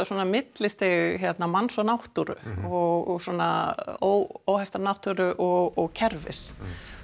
svona millistig manns og náttúru og svona óhefta náttúru og kerfis